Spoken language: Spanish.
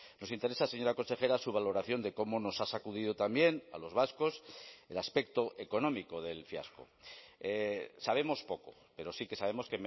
nos interesa señora consejera su valoración de cómo nos ha sacudido también a los vascos el aspecto económico del fiasco sabemos poco pero sí que sabemos